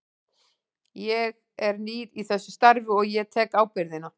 Ég er nýr í þessu starfi og ég tek ábyrgðina.